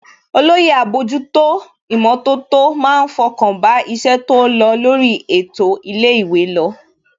Olóyè àbójútó ìmọ̀tótó má ń fọkàn bá iṣẹ́ tó lọ lórí ètò ilé ìwé lọ